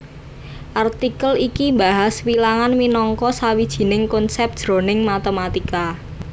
Artikel iki mbahas wilangan minangka sawijining konsèp jroning matématika